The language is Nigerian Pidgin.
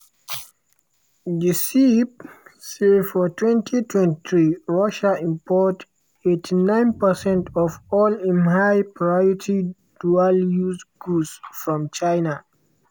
di ceip say for 2023 russia import 89 percent of all im high priority dual-use goods from china.